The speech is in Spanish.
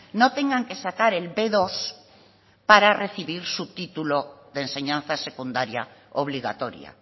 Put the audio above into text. no tengan que sacar el be dos para recibir su título de enseñanza secundaria obligatoria